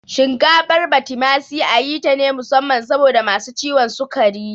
Shinkafar Batimasi ayi tane musamman saboda masu ciwon sukari